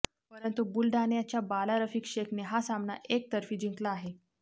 परंतु बुलडाण्याच्या बाला रफिक शेखने हा सामना एकतर्फी जिंकला आहे